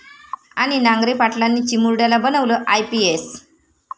...आणि नांगरे पाटलांनी चिमुरड्याला बनवलं आयपीएस!